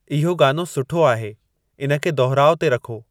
इहो गानो सुठो आहे इन खे दुहिराउ ते रखो